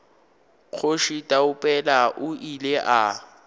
kgoši taupela o ile a